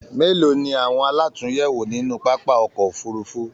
Mélòó ni awọn àlatúnyẹwò nínú pápá ọkọ òfurùnfu?